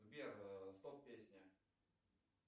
сбер стоп песня